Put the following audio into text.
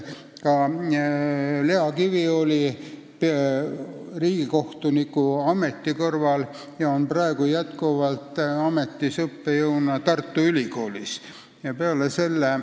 Ka Lea Kivi oli ja on praegugi riigikohtuniku ameti kõrvalt õppejõud Tartu Ülikoolis.